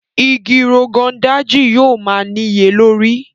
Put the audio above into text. Ìgi Rogon Daji yóò má niyelori.